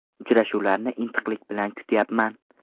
Uchrashuvlarni intiqlik bilan kutyapman.